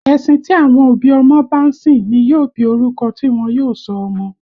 Ẹ̀sìn tí àwọn òbí ọmọ bá ń sìn ní yóò bí orúkọ tí wọ́n yóò sọ ọmọ